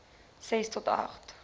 ses tot agt